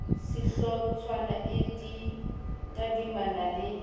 ya sehlotshwana e tadimana le